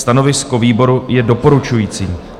Stanovisko výboru je doporučující.